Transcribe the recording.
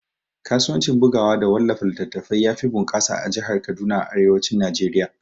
Kasuwanci bugawa da wallafa littatafai yafi bunƙasa a jahar Kaduna a arewacin Najeriya